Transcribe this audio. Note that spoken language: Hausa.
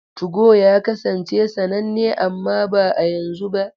2go ya kasance sananne amma ba yanzu ba.